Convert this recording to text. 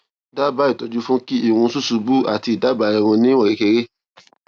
daba ìtọjú fún kí irun susubu ati idagba irun ni iwon kekere